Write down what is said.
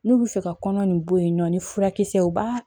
N'u bɛ fɛ ka kɔnɔ nin bɔ yen nɔ ni furakisɛw b'a